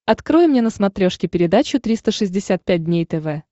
открой мне на смотрешке передачу триста шестьдесят пять дней тв